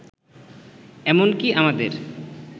এমনকি আমাদের